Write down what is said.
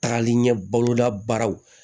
Tagali ɲɛ bolodabaaraw